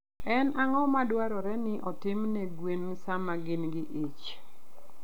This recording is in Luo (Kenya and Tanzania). En ang'o madwarore ni otim ne gwen sama gin gi ich?